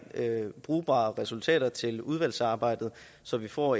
brugbare resultater til udvalgsarbejdet så vi får